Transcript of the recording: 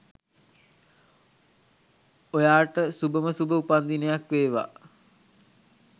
ඔයාට සුභම සුභ උපන්දිනයක් වේවා